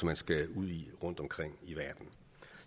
man skal ud i rundtomkring i verden